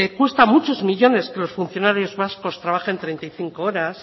cuesta muchos millónes que los funcionarios vascos trabajen treinta y cinco horas